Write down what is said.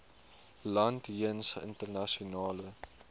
land jeens internasionale